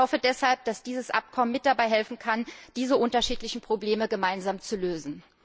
Ich hoffe deshalb, dass dieses Abkommen mit dabei helfen kann, diese unterschiedlichen Probleme gemeinsam zu lösen.